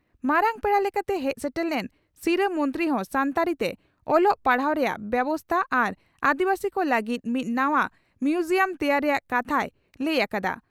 ᱢᱟᱨᱟᱝ ᱯᱮᱲᱟ ᱞᱮᱠᱟᱛᱮ ᱦᱮᱡ ᱥᱮᱴᱮᱨ ᱞᱮᱱ ᱥᱤᱨᱟᱹ ᱢᱚᱱᱛᱨᱤ ᱦᱚᱸ ᱥᱟᱱᱛᱟᱲᱤ ᱛᱮ ᱚᱞᱚᱜ ᱯᱟᱲᱦᱟᱣ ᱨᱮᱭᱟᱜ ᱵᱮᱵᱚᱥᱛᱟ ᱟᱨ ᱟᱹᱫᱤᱵᱟᱹᱥᱤ ᱠᱚ ᱞᱟᱹᱜᱤᱫ ᱢᱤᱫ ᱱᱟᱣᱟ ᱢᱤᱣᱡᱤᱭᱟᱢ ᱛᱮᱭᱟᱨ ᱨᱮᱭᱟᱜ ᱠᱟᱛᱷᱟᱭ ᱞᱟᱹᱭ ᱟᱠᱟᱫᱟ ᱾